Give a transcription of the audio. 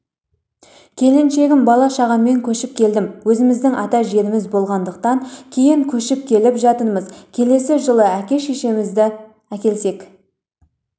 келіншегім бала-шағаммен көшіп келдім өзіміздің ата жеріміз болғаннан кейін көшіп келіп жатырмыз келесі жылы әке-шешемізді әкелсек